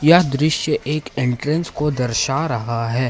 यह दृश्य एक एंट्रेंस को दर्शा रहा है।